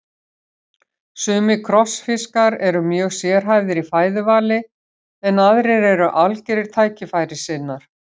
Sumir krossfiskar eru mjög sérhæfðir í fæðuvali en aðrir eru algjörir tækifærissinnar.